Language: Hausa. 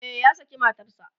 e ya saki matanshi